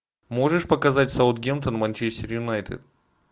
можешь показать саутгемптон манчестер юнайтед